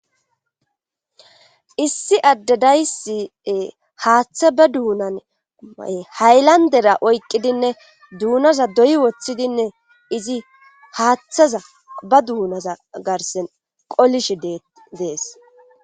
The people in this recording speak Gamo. issi addadaysie haaththa be duunan ma7e haylandera oyqqidinne duunaza doyi woththidinne izi haaththaza ba duunaza garsen qolish dees